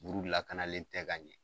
Buru lakanalen tɛ ka ɲɛ.